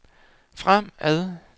fremad